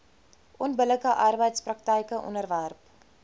onbillike arbeidspraktyke onderwerp